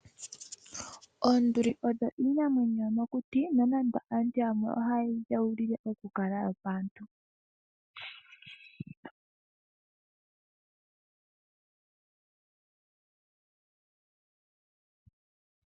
Oonduli oyo iinamwenyo yomokuti nonando aantu yamwe ohayeyi dheulile okukala yopaantu .